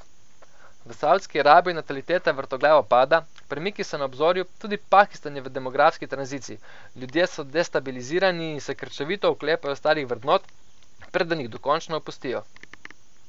V Saudski Arabiji nataliteta vrtoglavo pada, premiki so na obzorju, tudi Pakistan je v demografski tranziciji, ljudje so destabilizirani in se krčevito oklepajo starih vrednot, preden jih dokončno opustijo.